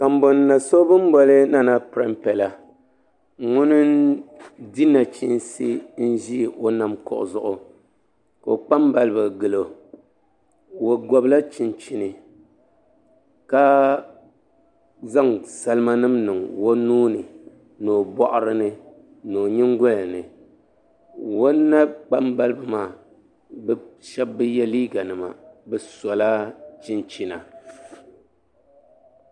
kambo na so bɛ ni boli pɛrimpɛ la ŋuni n-di o nachiinsi n-ʒi o nam kuɣu zuɣu ka o kpambaliba gili o o gɔbila chinchini ka zaŋ salimanima n-niŋ o nua ni o bɔɣiri ni ni o nyingoli ni o na'kpambaliba maa bɛ shɛba bi ye liiganima bɛ sola chinchina